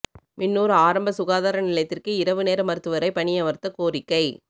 மின்னூா் ஆரம்ப சுகாதார நிலையத்திற்கு இரவு நேர மருத்துவரை பணியமா்த்த கோரிக்கை